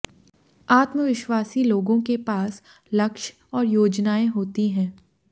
आत्माविश्ववासी लोगों के पास लक्ष्य और योजनाएं होती हैं